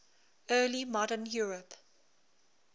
early modern europe